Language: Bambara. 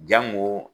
Jango